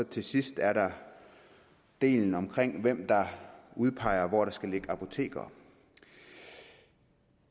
til sidst er der delen om hvem der udpeger hvor der skal ligge apoteker